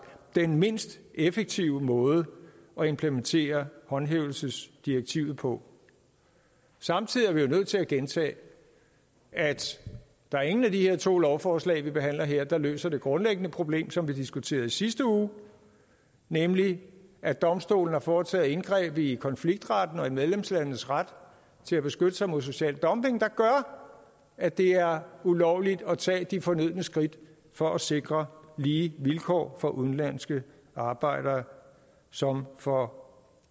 den mindst effektive måde at implementere håndhævelsesdirektivet på samtidig er vi nødt til at gentage at der er ingen af de her to lovforslag som vi behandler her der løser det grundlæggende problem som vi diskuterede i sidste uge nemlig at domstolen har foretaget indgreb i konfliktretten og i medlemslandenes ret til at beskytte sig mod social dumping der gør at det er ulovligt at tage de fornødne skridt for at sikre lige vilkår for såvel udenlandske arbejdere som for